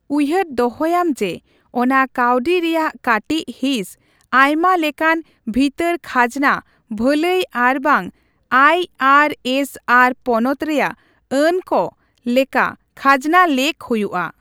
ᱩᱭᱦᱟᱹᱨ ᱫᱚᱦᱚᱭᱟᱢ ᱡᱮ, ᱚᱱᱟ ᱠᱟᱹᱣᱰᱤ ᱨᱮᱭᱟᱜ ᱠᱟᱴᱤᱪ ᱦᱤᱸᱥ ᱟᱭᱢᱟ ᱞᱮᱠᱟᱱ ᱵᱷᱤᱛᱟᱹᱨ ᱠᱷᱟᱡᱱᱟ ᱵᱷᱟᱹᱞᱟᱹᱭ ᱟᱨᱵᱟᱝ ᱟᱭᱹᱟᱨᱹᱮᱥ ᱟᱨ ᱯᱚᱱᱚᱛ ᱨᱮᱭᱟᱜ ᱟᱹᱱ ᱠᱚ ᱞᱮᱠᱟ ᱠᱷᱟᱡᱱᱟ ᱞᱮᱠ ᱦᱩᱭᱩᱼᱟ ᱾